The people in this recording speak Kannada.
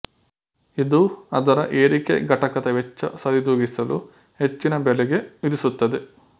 ಇದು ಅದರ ಏರಿಕೆ ಘಟಕದ ವೆಚ್ಚ ಸರಿದೂಗಿಸಲು ಹೆಚ್ಚಿನ ಬೆಲೆಗೆ ವಿಧಿಸುತ್ತದೆ